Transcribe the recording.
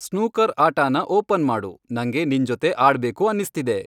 snooker ಆಟಾನ open ಮಾಡು, ನಂಗೆ ನಿಂಜೊತೆ ಆಡ್ಬೇಕು ಅನಿಸ್ತಿದೆ